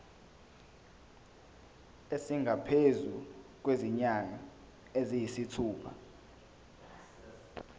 esingaphezu kwezinyanga eziyisithupha